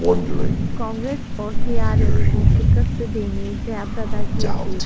کانگریس اور T R S کو شکست دینے جیا پردا کی اپیل